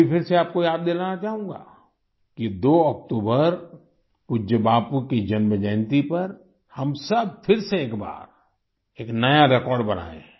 मैं भी फिर से आपको याद दिलाना चाहूँगा कि 2 अक्टूबर पूज्य बापू की जन्मजयंती पर हम सब फिर से एक बार एक नया रेकॉर्ड बनाए